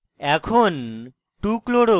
এখন